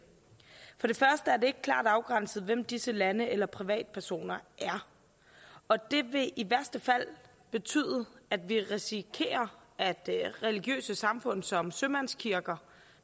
ikke klart afgrænset hvem disse lande eller privatpersoner er og det vil i værste fald betyde at vi risikerer at religiøse samfund som sømandskirker